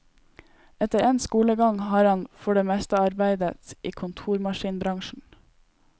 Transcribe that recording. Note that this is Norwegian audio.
Etter endt skolegang har han for det meste arbeidet i kontormaskinbransjen.